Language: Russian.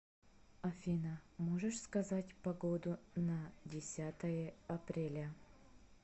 афина можешь сказать погоду на десятое апреля